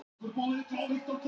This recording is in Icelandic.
Smári Jósepsson, lög